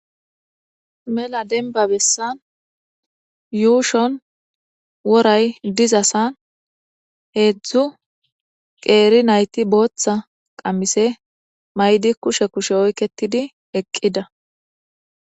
Mela denbabessan yuushon woray dizasan heedzdzu qeeri nayti booththa qammise maydi kushe kushe oyketidi eqqida.